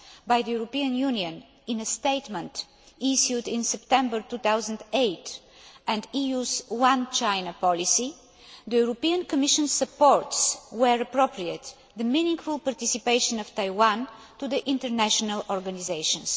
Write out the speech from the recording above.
by the European Union in a statement issued in September 2008 and the EU's One China policy, the European Commission supports, where appropriate, the meaningful participation of Taiwan in international organisations.